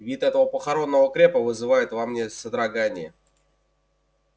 вид этого похоронного крепа вызывает во мне содрогание